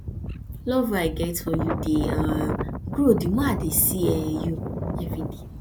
love wey i get for you dey um grow the more i dey see you everyday